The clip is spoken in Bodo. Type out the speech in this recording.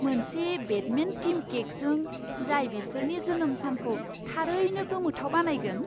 मोनसे बेटमेन थीम केकजों, जाय बिसोरनि जोनोम सानखौ थारैनो गोमोथाव बानायगोन!